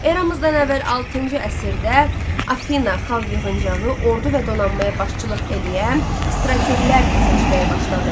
Eradan əvvəl altıncı əsrdə Afina Xalq yığıncağı ordu və donanmaya başçılıq eləyən strategilər seçməyə başladı.